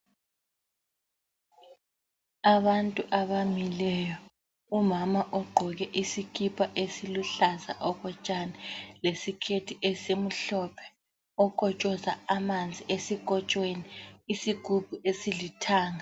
Abantu abamileyo. Umama ogqoke isikipa esiluhlaza okotshani lesiketi esimhlophe okotshoza amanzi esikotshweni isigubhu esilithanga.